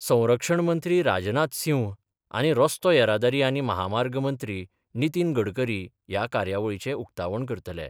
संरक्षण मंत्री राजनाथ सिंह आनी रस्तो येरादारी आनी म्हामार्ग मंत्री नितीन गडकरी ह्या कार्यावळीचें उक्तावण करतले.